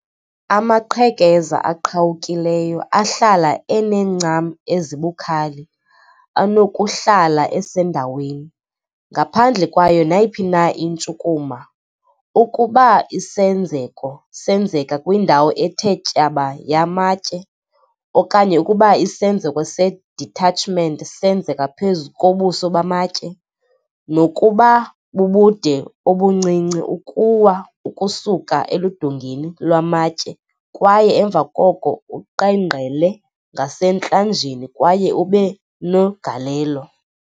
Amaqhekeza aqhawukileyo, ahlala enencam ezibukhali, anokuhlala esendaweni, ngaphandle kwayo nayiphi na intshukumo, ukuba isenzeko senzeka kwindawo ethe tyaba yamatye, okanye ukuba isenzeko se-detachment senzeka phezu kobuso bamatye, nokuba bubude obuncinci, ukuwa ukusuka eludongeni lwamatye kwaye emva koko uqengqele ngasentlanjeni kwaye ube negalelo